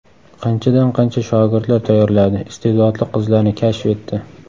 Qanchadan qancha shogirdlar tayyorladi, iste’dodli qizlarni kashf etdi.